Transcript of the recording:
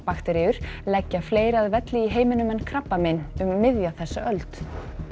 bakteríur leggja fleiri að velli í heiminum en krabbamein um miðja þessa öld